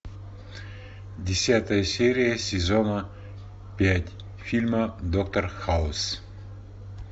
десятая серия сезона пять фильма доктор хаус